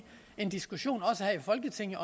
en diskussion også her i folketinget